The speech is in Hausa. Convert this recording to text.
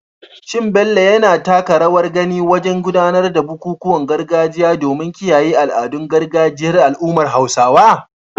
Is Bello actively participating in traditional rites to preserve the cultural heritage of the Hausa community?